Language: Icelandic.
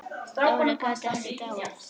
Dóri gat ekki dáið.